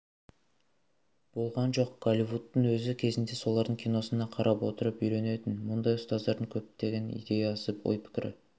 болған жоқ голливудтың өзі кезінде солардың киносына қарап отырып үйренетін мұндай ұстаздардың көптеген идеясы ой-пікірі